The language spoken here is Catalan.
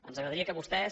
ens agradaria que vostès